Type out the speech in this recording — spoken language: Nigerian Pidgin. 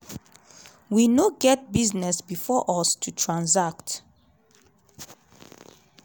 “we no get business bifor us to transact.